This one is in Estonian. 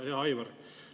Hea Aivar!